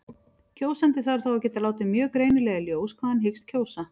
Kjósandi þarf þá að geta látið mjög greinilega í ljós hvað hann hyggst kjósa.